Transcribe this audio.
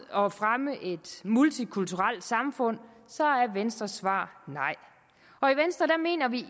og fremme et multikulturelt samfund så er venstres svar nej